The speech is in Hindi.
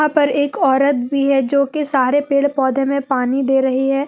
यहां पर एक औरत भी है जोकि सारे पेड़ पौधे में पानी दे रही है।